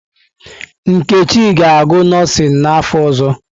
Nkechi ga-agụ nọọsịn n'afọ ọzọ.